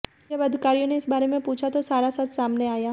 जब अधिकारियों ने इस बारे में पूछा तो सारा सच सामने आया